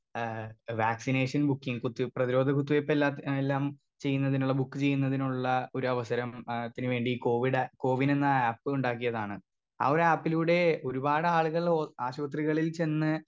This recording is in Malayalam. സ്പീക്കർ 2 ആ വാക്ക്‌സിനേഷൻ ബുക്കിങ് കുത്തി പ്രതിരോധ കുത്തിവെപ്പെല്ലാ ഏ എല്ലാം ചെയ്യുന്നതിനുള്ള ബുക്ക് ചെയ്യുന്നതിനുള്ള ഒരവസരം ആ ത്തിന് വേണ്ടി കോവിഡ് കോവിനെന്ന ആപ്പുണ്ടാക്കിയതാണ് ആ ഒരു ആപ്പിലൂടെ ഒരുപാടാളുകൾ ഓ ആശുപത്രികളിൽ ചെന്ന്.